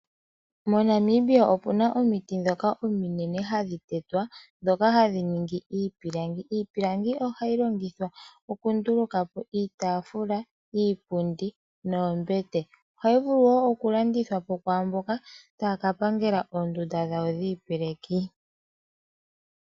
MoNamibia opuna omiti ndhoka ominenw hadhi tetwa, ndhoka hadhi ningi iipilangi. Iipilangi ohayi longithwa oku nduluka po iitaafula, iipundi noombete, ohayi vulu wo oku landithwa po kwaamboka taya ka pangela oondunda dhawo dhiipeleki.